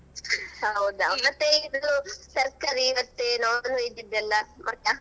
ಹೌದಾ ಮತ್ತೇ ಇದು ತರ್ಕಾರಿ ಮತ್ತೇ non-veg ಇದೆಲ್ಲಾ ಗೊತ್ತಾ?